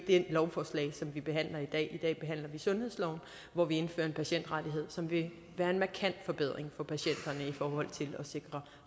det lovforslag som vi behandler i dag i dag behandler vi sundhedsloven hvor vi indfører en patientrettighed som vil være en markant forbedring for patienterne i forhold til at sikre